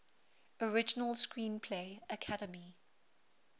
original screenplay academy